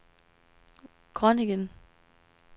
Groningen